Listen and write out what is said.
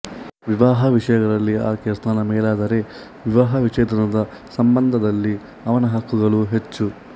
ವಿವಾಹ ವಿಷಯಗಳಲ್ಲಿ ಆಕೆಯ ಸ್ಥಾನ ಮೇಲಾದರೆ ವಿವಾಹ ವಿಚ್ಛೇದನದ ಸಂಬಂಧದಲ್ಲಿ ಅವನ ಹಕ್ಕುಗಳು ಹೆಚ್ಚು